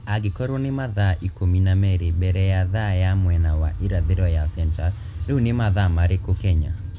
angĩkorwo nĩ mathaa ikũmi na merĩ mbere ya thaa ya mwena wa irathĩro ya centaur rĩu nĩ mathaa marĩkũ Kenya